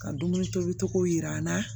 Ka dumuni tobi cogo jira an na